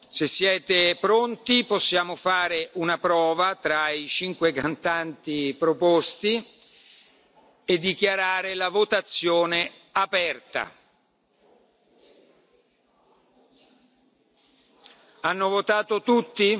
Se siete pronti, possiamo fare una prova, con i cinque cantanti proposti. Dichiaro la votazione aperta. Hanno votato tutti?